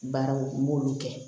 Baaraw n b'olu kɛ